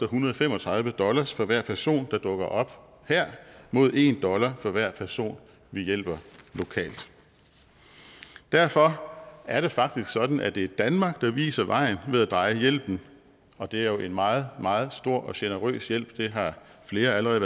hundrede og fem og tredive dollar for hver person der dukker op her mod en dollar for hver person vi hjælper lokalt derfor er det faktisk sådan at det er danmark der viser vejen ved at dreje hjælpen og det er jo en meget meget stor og generøs hjælp hvad flere allerede